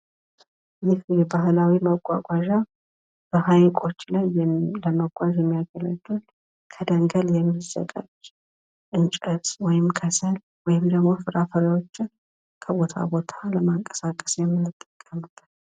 ይህ ባህላዊ መጓጓዣ በሀይቆች ላይ ለመጓዝ የሚያገለግል ከደንገል የሚዘጋጅ እንጨት ወይም ከሰል ወይም ደግሞ ፍራፍሬዎችን ከቦታ ቦታ ለማንቀሳቀስ የምንጠቀምበት።